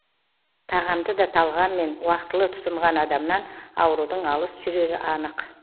тағамды да талғаммен уақытылы тұтынған адамнан аурудың алыс жүрері анық